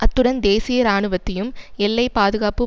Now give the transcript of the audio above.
அத்துடன் தேசிய இராணுவத்தையும் எல்லைப்பாதுகாப்பு